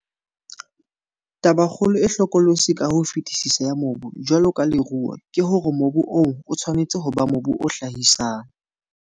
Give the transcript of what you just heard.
Tabakgolo e hlokolosi ka ho fetisisa ya mobu jwalo ka leruo ke hore mobu oo o tshwanetse ho ba mobu o hlahisang.